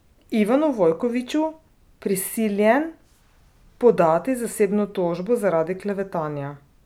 Ivanu Vojkoviću prisiljen podati zasebno tožbo zaradi klevetanja.